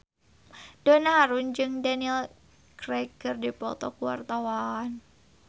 Donna Harun jeung Daniel Craig keur dipoto ku wartawan